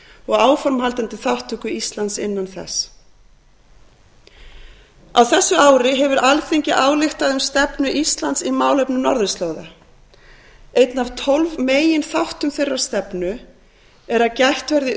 og áframhaldandi þátttöku íslands innan þess á þessu ári hefur alþingi ályktað um stefnu íslands í málefnum norðurslóða einn af tólf meginþáttum þeirrar stefnu er að gætt verði